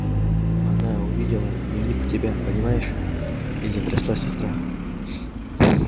она увидела дневник у тебя понимаешь и затряслась от страха